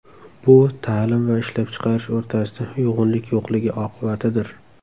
Bu ta’lim va ishlab chiqarish o‘rtasida uyg‘unlik yo‘qligi oqibatidir.